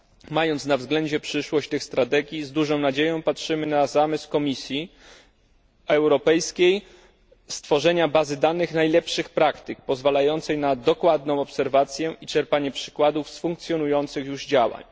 Mając na względzie przyszłość tych strategii, z dużą nadzieją patrzymy na zamysł Komisji Europejskiej stworzenia bazy danych najlepszych praktyk, pozwalającej na dokładną obserwację i czerpanie przykładów z funkcjonujących już działań.